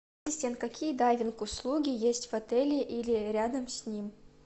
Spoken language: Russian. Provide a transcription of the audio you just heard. какие дайвинг услуги есть в отеле или рядом с ним